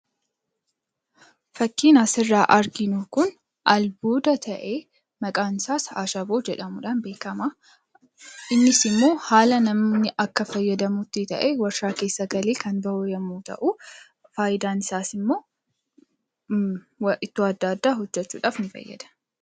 Fakkiin asirraa arginu kun albuuda ta'ee, maqaansaas ashaboo jedhamuudhaan beekama. Innis immoo haala namni akka itti fayyadamutti ta'ee, waarshaa keessa galee kan bahu yommuu ta'u, faayidaan isaas immoo ittoo adda addaa hojjechuudhaaf ni fayyada.